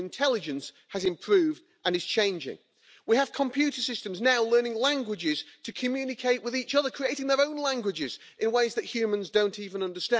Sądzę, że nie na miejscu są także takie zapisy jak w ust. 38, w którym wskazuje się na kompleksowe podejście Unii Europejskiej i USA do zwalczania terroryzmu.